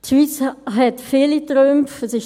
Die Schweiz hat viele Trümpfe in der Hand.